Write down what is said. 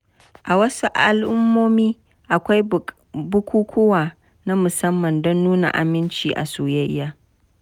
A wasu al’ummomi, akwai bukukuwa na musamman don nuna aminci a soyayya.